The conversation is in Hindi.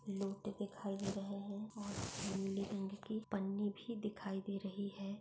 लोटें दिखाई दे रहे है। और नीले रंग की पन्नी भी दिखाई दे रही है।